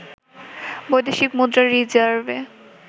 বৈদেশিক মুদ্রার রিজার্ভে